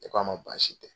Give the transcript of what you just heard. Ne k'a ma baasi tɛ